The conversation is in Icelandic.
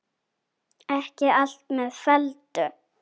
Ekki allt með felldu